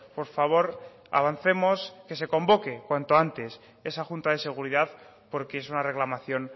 por favor avancemos que se convoque cuanto antes esa junta de seguridad porque es una reclamación